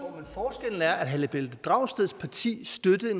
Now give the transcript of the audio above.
herre pelle dragsted siger